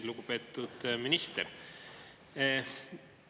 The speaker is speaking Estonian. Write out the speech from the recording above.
Lugupeetud minister!